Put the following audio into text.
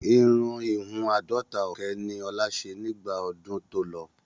Irun ìhun àádọ́ta ọ̀kẹ́ ni ọ̀la ṣe nígbà ọdún tó lọ.